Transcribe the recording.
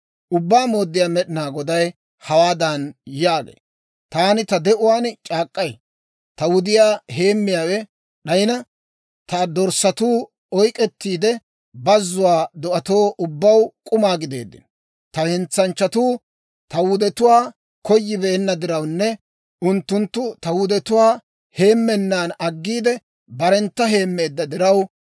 Ubbaa Mooddiyaa Med'inaa Goday hawaadan yaagee; «Taani ta de'uwaan c'aak'k'ay: Ta wudiyaa heemmiyaawe d'ayina, ta dorssatuu oyk'k'ettiide, bazzuwaa do'atoo ubbaw k'uma gideeddino. Ta hentsanchchatuu ta wudetuwaa koyibeenna dirawunne unttunttu ta wudetuwaa heemmennan aggiide, barentta heemmeedda diraw,